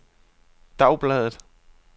dagbladet